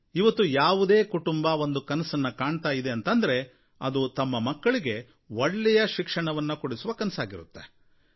ಇವತ್ತು ಯಾವುದೇ ಕುಟುಂಬ ಒಂದು ಕನಸನ್ನು ಕಾಣ್ತಾ ಇದೆ ಅಂದರೆ ಅದು ತಮ್ಮ ಮಕ್ಕಳಿಗೆ ಒಳ್ಳೆಯ ಶಿಕ್ಷಣವನ್ನು ಕೊಡಿಸುವ ಕನಸಾಗಿರುತ್ತೆ